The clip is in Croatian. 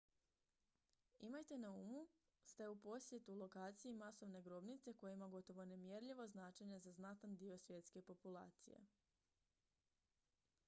imajte na umu ste u posjetu lokaciji masovne grobnice koja ima gotovo nemjerljivo značenje za znatan dio svjetske populacije